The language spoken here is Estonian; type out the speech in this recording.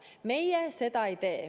Meie seda ei tee.